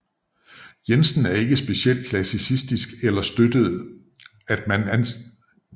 Jensen var ikke speciel klassicistisk og støttede at man afskaffede græsk og latin i gymnasiet